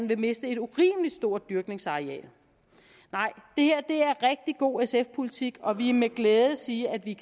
vil miste et urimelig stort dyrkningsareal det her er rigtig god sf politik og vi kan med glæde sige at vi